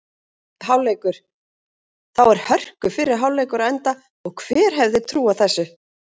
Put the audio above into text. Hálfleikur: Þá er hörku fyrri hálfleikur á enda og hver hefði trúað þessu??